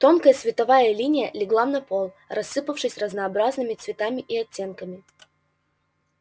тонкая световая линия легла на пол рассыпавшись разнообразными цветами и оттенками